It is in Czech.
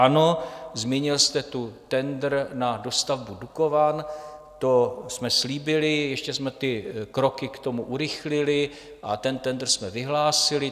Ano, zmínil jste tu tendr na dostavbu Dukovan - to jsme slíbili, ještě jsme ty kroky k tomu urychlili a ten tendr jsme vyhlásili.